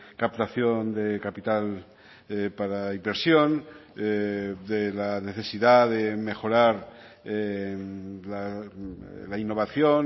captación de capital para inversión de la necesidad de mejorar la innovación